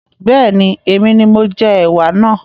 Bẹ́ẹ̀ni, èmi ni mo jẹ ẹwà náà